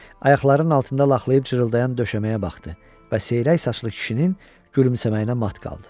Ayaqlarının altında laxlayıb cırıldayan döşəməyə baxdı və seyrək saçlı kişinin gülümsəməyinə mat qaldı.